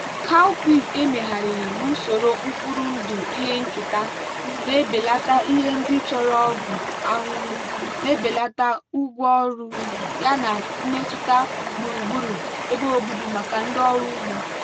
cowpeas emegharịrị n'usoro mkpụrụ ndụ ihe nketa na-ebelata ihe ndị chọrọ ọgwụ ahụhụ na-ebelata ụgwọ ọrụ yana mmetụta gburugburu ebe obibi maka ndị ọrụ ugbo.